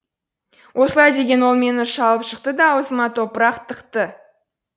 осылай деген ол мені шалып жықты да аузыма топырақ тықты